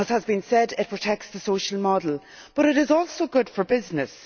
As has been said, it protects the social model. But it is also good for business.